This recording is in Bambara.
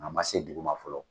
A ma se duguma fɔlɔ.